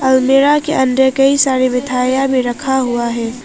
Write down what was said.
अलमीरा के अंदर कई सारी मिठाइयां भी रखा हुआ है।